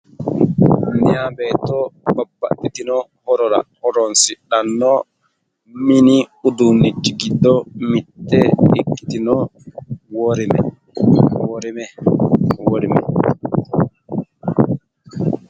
mayi beetto babbaxitino horora horonsidhanno mini uduunnichi giddo mitte ikkitino worime.